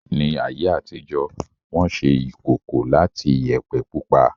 Ní ayé àtijó, Wọ́n ṣe ìkòkò láti Iyẹ̀pẹ̀ pupa